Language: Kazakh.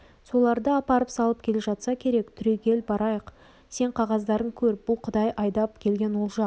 соларды апарып салып келе жатса керек түрегел барайық сен қағаздарын көр бұл құдай айдап келген олжа